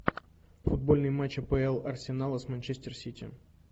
футбольный матч апл арсенала с манчестер сити